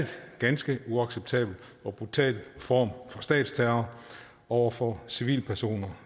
ganske uacceptabel og brutal form for statsterror over for civilpersoner